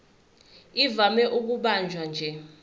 ivame ukubanjwa nje